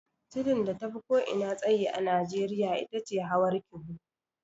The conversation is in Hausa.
Tudun da tafi ko'ina tsayi a Nijeriya ita ce hawar kibo